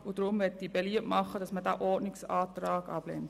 Deshalb möchte ich beliebt machen, den Ordnungsantrag abzulehnen.